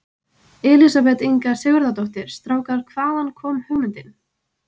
Elísabet Inga Sigurðardóttir: Strákar, hvaðan kom hugmyndin?